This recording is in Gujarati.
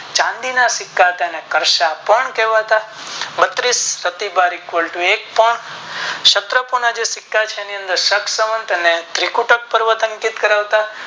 ચાંદી ના સિક્કા હતા તેને કર્ષતાં કહેવાતા બત્રીશ પ્રતિગાર તું એકવન કરાવતા